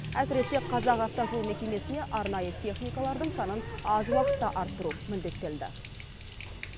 әсіресе қазақавтожол мекемесіне арнайы техникалардың санын аз уақытта арттыру міндеттелді